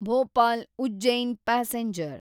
Bhopal Ujjain passenger